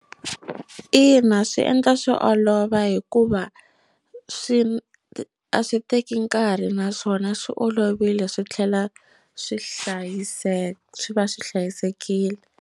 Ina swi endla swi olova hikuva swi a swi teki nkarhi naswona swi olovile swi tlhela swi hlayiseka swi va swi hlayisekile.